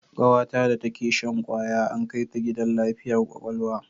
Kawata da take shan kwaya an kai ta gidan lafiyar kwakwalwa